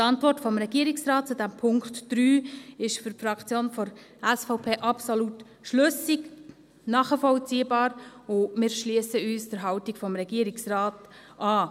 Die Antwort des Regierungsrates zum Punkt 3 ist für die Fraktion der SVP absolut schlüssig, nachvollziehbar, und wir schliessen uns der Haltung des Regierungsrates an.